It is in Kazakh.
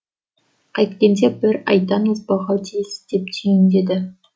қайткенде бір айдан озбауға тиіс деп түйіндеді